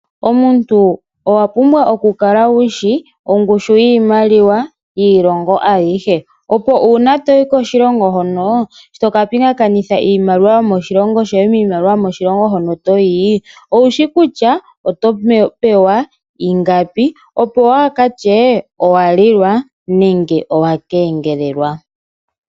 Omuntu owa pumbwa oku kala wushi ongushu yiimaliwa yiilongo ayihe. Opo uuna toyi koshilongo hono, sho toka pingakanitha iimaliwa yomoshilongo shoye niimaliwa yokoshilongo hono toyi, owushi kutya oto pewa ingapi opo waaka tye owa lilwa nenge owa kengelelwa.